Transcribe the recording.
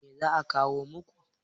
Me za a kawo muku?